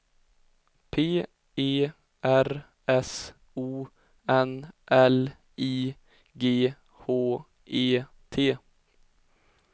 P E R S O N L I G H E T